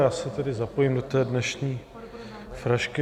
Já se tedy zapojím do té dnešní frašky.